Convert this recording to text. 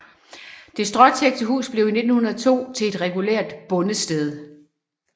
Det stråtækte hus blev 1902 til et regulært bondested